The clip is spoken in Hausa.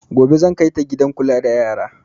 Gobe zan kai ta gidan kula da yara